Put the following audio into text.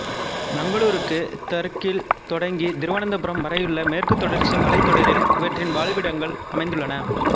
மங்களூருக்குத் தெற்கில் தொடங்கி திருவனந்தபுரம் வரையுள்ள மேற்குத்தொடர்ச்சி மலைத்தொடரில் இவற்றின் வாழிடங்கள் அமைந்துள்ளன